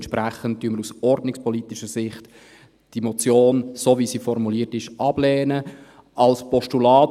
Entsprechend lehnen wir die Motion, so wie sie formuliert ist, aus ordnungspolitischer Sicht ab.